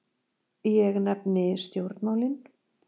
Ég nefni stjórnmálin.